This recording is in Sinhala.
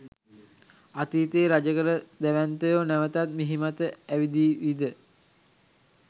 අතීතයේ රජකළ දැවැන්තයෝ නැවතත් මිහිමත ඇවිදීවිද?